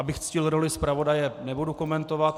Abych ctil roli zpravodaje, nebudu komentovat.